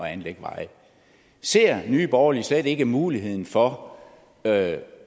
anlægge veje ser nye borgerlige slet ikke muligheden for at